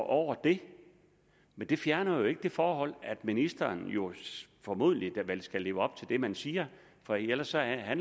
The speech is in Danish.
over det men det fjerner jo ikke det forhold at ministeren formodentlig skal leve op til det man siger for ellers er